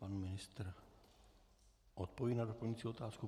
Pan ministr odpoví na doplňující otázku.